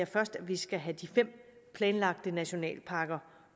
først skal have de fem planlagte nationalparker